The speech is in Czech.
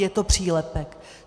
Je to přílepek.